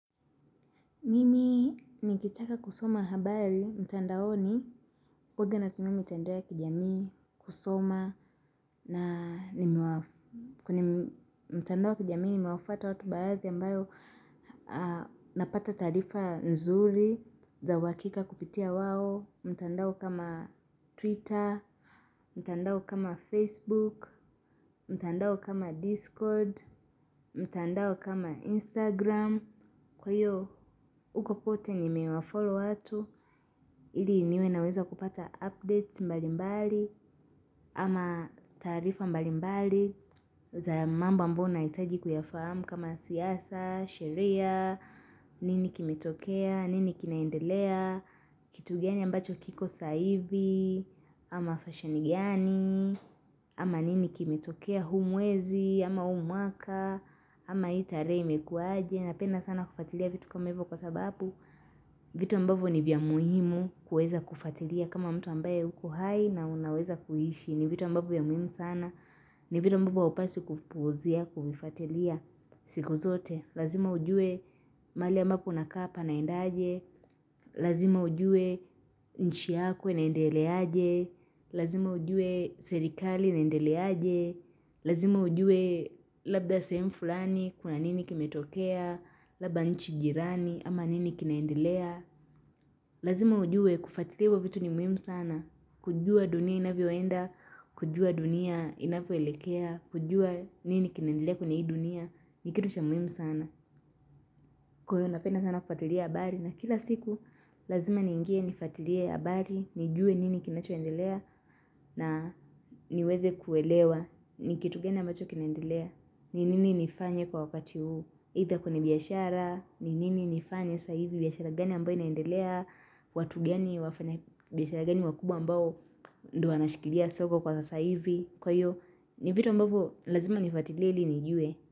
Mimi nikitaka kusoma habari mtandaoni kwa uhaga natumia mitandao ya kijamii kusoma na mtandao ya kijamii nimewafata watu baadhi ambayo napata taarifa nzuri za uhakika kupitia wao mtandao kama twitter, mtandao kama facebook, mtandao kama discord, mtandao kama instagram Kwa hiyo uko kote nimewafollow watu, ili niwe naweza kupata updates mbalimbali ama taarifa mbalimbali za mambo ambayo nahitaji kuyafahamu kama siasa, sheria, nini kimetokea, nini kinaendelea, kitu gani ambacho kiko saivi, ama fashioni gani, ama nini kimetokea hu mwezi, ama huu mwaka, ama hii tarehe imekuaje ni napenda sana kufuatilia vitu kama hivo kwasababu vitu ambavyo ni vya muhimu kuweza kufatilia kama mtu ambaye huko hai na unaweza kuishi ni vitu ambavyo vya muhimu sana ni vitu ambavyo haupaswi kupuuzia kuvifatilia siku zote lazima ujue mahali ambapo unakaa panaendaje lazima ujue nchi yako inaendeleaje lazima ujue serikali na endeleaje lazima ujue labda sehemu fulani kuna nini kimetokea labda nchi jirani ama nini kinaendelea lazima ujue kufatilia hivyo vitu ni muhimu sana kujua dunia inavyoenda kujua dunia inavyoelekea kujua nini kinaendelea kwenye hii dunia ni kitu cha muhimu sana kwa hiyo napenda sana kufatilia habari na kila siku lazima ningie nifatilie habari nijue nini kinachoendelea na niweze kuelewa ni kitu gani ambacho kinaendelea ni nini nifanye kwa wakati huu Idha kwenye biashara, ni nini nifanye sa hivi, biashara gani ambayo inaendelea, watu gani, biashara gani wakubwa ambayo ndo wanashikilia soko kwa sasa hivi. Kwa hiyo, ni vitu ambavo lazima nifatilie ili nijue.